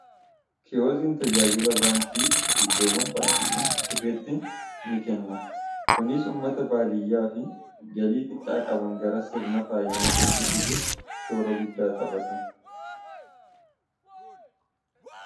kiyoziin tajaajila baankii iddoowwan baankiiwwaniin hin jirretti ni kenna kunis ummata baadiyyaa fi galii xiqqaa qaban gara sirna faayinaansitti fidu shoora guddaa xaphata